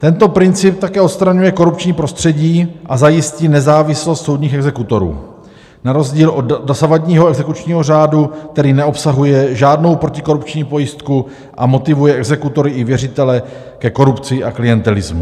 Tento princip také odstraňuje korupční prostředí a zajistí nezávislost soudních exekutorů na rozdíl od dosavadního exekučního řádu, který neobsahuje žádnou protikorupční pojistku a motivuje exekutory i věřitele ke korupci a klientelismu.